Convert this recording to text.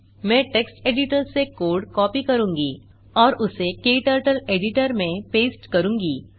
मैं text editor से code copy करूँगा और उसे क्टर्टल एडिटर में पेस्ट करूँगा